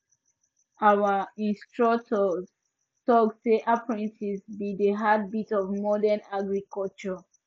our instructor talk say apprentices be the heartbeat of modern agriculture